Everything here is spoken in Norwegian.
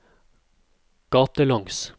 gatelangs